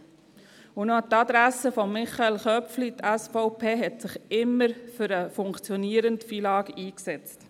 Und noch an die Adresse von Michael Köpfli: Die SVP hat sich immer für ein funktionierendes FILAG eingesetzt.